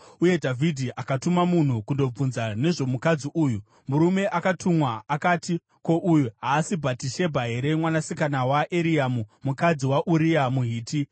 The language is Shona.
uye Dhavhidhi akatuma munhu kundobvunza nezvomukadzi uyu. Murume akatumwa akati, “Ko, uyu haasi Bhatishebha here mwanasikana waEriamu mukadzi waUria muHiti?”